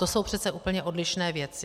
To jsou přece úplně odlišné věci.